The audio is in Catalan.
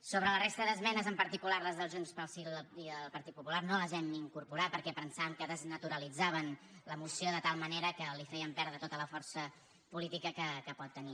sobre la resta d’esmenes en particular les de junts pel sí i les del partit popular no les hem incorporat perquè pensàvem que desnaturalitzaven la moció de tal manera que li feien perdre tota la força política que pot tenir